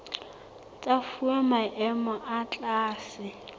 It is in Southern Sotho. tsa fuwa maemo a tlase